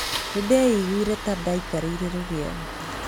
Nĩndeiguire ta ndaikarĩire rũgĩo.